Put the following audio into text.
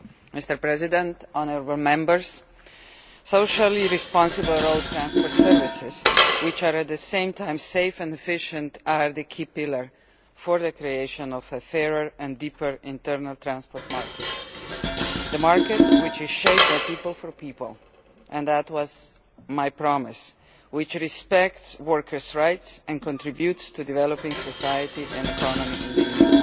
Mr President, honourable Members, socially responsible road transport services which are at the same time safe and efficient are the key pillar in the creation of a fairer and deeper internal transport market, a market shaped by people, for people and that was my promise one which respects workers' rights and contributes to developing society and the economy in the EU.